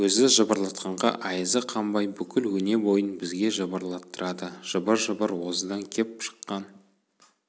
өзі жыбырлатқанға айызы қанбай бүкіл өне-бойын бізге жыбырлаттырады жыбыр-жыбыр осыдан кеп шыққан